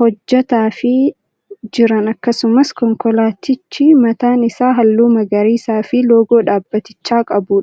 hojjataafii jiran akkasumas konkolaatichi mataan isaa halluu magariisaa fi loogoo dhaabbatichaa qabudha.